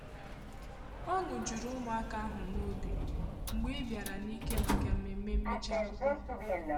Ọṅụ jùrù ụmụaka ahu n'obi mgbe ibara n'ike màkà mmemme mmechi akwụkwọ.